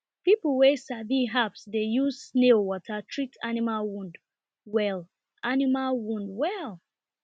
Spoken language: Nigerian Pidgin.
people wey sabi herbs dey use snail water treat animal wound well animal wound well